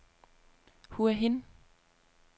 Hua Hin